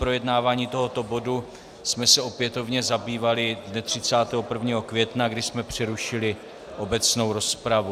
Projednáváním tohoto bodu jsme se opětovně zabývali dne 31. května, kdy jsme přerušili obecnou rozpravu.